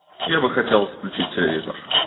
я бы хотел включить телевизор